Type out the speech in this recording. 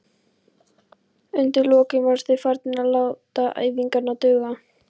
Undir lokin voru þeir farnir að láta æfingarnar duga.